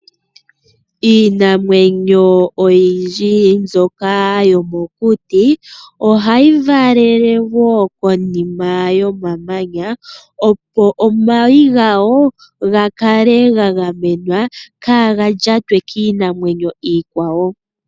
Iinamwenyo oyindji mbyoka yomokuti ohayi valele woo konima yomamanya opo omayi gawo gakale ga gamenwa. Kaaga lyatwe kiinamwenyo iikwawo.